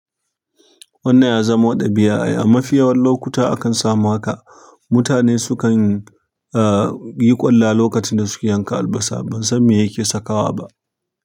Wannan ya zama ɗabi'a ai. A mafi yawan lokuta akan samu haka mutane sukan, ahh, yi kwalla lokacin da suke yanka albasa. Ban san me yake sakawa ba.